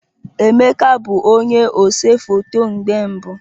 Emeka bụ onye ose foto mgbe mbu